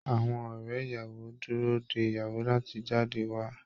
Àwọn ọ̀rẹ́ ìyàwó ń dúró de ìyàwó láti jáde wá